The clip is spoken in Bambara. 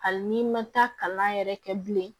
Hali n'i ma taa kalan yɛrɛ kɛ bilen